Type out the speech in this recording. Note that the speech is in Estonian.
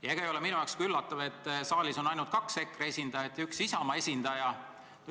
Ja ega ole minu jaoks üllatav seegi, et saalis on ainult kaks EKRE esindajat ja üks Isamaa esindaja.